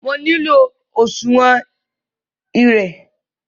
Mo nilò òṣuwọ́n èrè tí bankí iṣedúró ní ilú Kaduna!